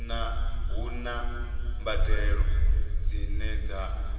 hu na mbadelo dzine dza